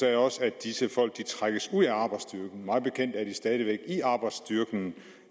sagde også at disse folk trækkes ud af arbejdsstyrken mig bekendt er de stadig væk i arbejdsstyrken